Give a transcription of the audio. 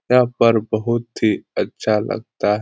यहाँ पर बहुत ही अच्छा लगता --